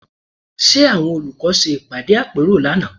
Ṣe àwọn olùkọ́ ṣe ìpàdé àpérò lánàá?